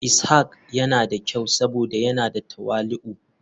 Ishak yana da kyau saboda yana da tawali'u.